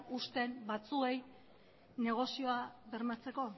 uzten batzuei negozioa bermatzeko